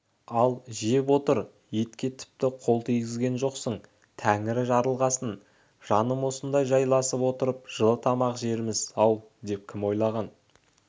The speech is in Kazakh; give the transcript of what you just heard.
ал жеп отыр етке тіпті қол тигізген жоқсың тәңірі жарылғасын жаным осындай жайласып отырып жылы тамақ жерміз-ау деп кім ойлаған